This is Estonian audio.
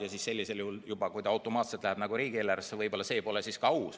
Kui see sellisel juhul läheb automaatselt riigieelarvesse, siis võib-olla see pole ka aus.